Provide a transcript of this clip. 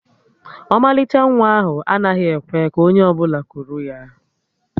Ọmalịcha nwa ahụ anaghị ekwe ka onye ọbụla kuru ya